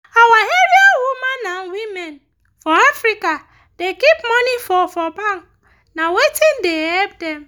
our area women and women for africa da keep money for for bank na wetin da help dem